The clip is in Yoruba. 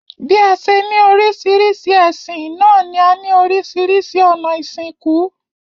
Bí a se ní oríṣiríṣi ẹ̀sìn náà ní a ní oríṣiríṣi ònà ìsìnkú